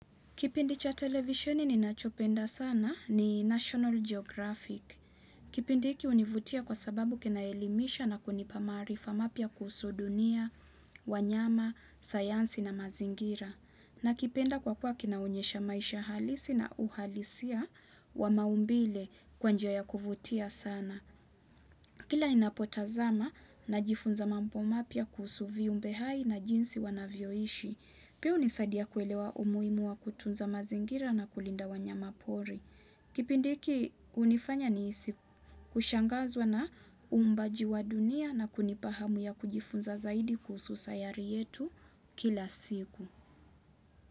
Kipindi cha televisheni ninachopenda sana ni national geographic kipindi hiki hunivutia kwa sababu kinaelimisha na kunipa maarifa mapya kuhusu dunia wanyama sayansi na mazingira nakipenda kwa kuwa kinaonyesha maisha halisi na uhalisia wa maumbile kwa njia ya kuvutia sana kila ninapotazama najifunza mambo mapya kuhusu viumbe hai na jinsi wanavyoishi pia hunisadia kuelewa umuhimu wa kutunza mazingira na kulinda wanyama pori kipindi hiki hunifanya nihisi kushangazwa na huumbaji wa dunia na kunipa hamu ya kujifunza zaidi kuhusu sayari yetu kila siku.